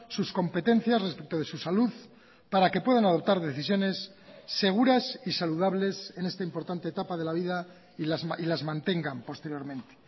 sus competencias respecto de su salud para que puedan adoptar decisiones seguras y saludables en esta importante etapa de la vida y las mantengan posteriormente